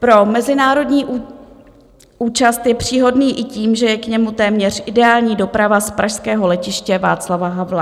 Pro mezinárodní účast je příhodný i tím, že je k němu téměř ideální doprava z pražského Letiště Václava Havla.